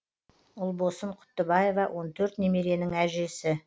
ұлбосын құттыбаева он төрт немеренің әжесі